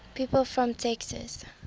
people from texas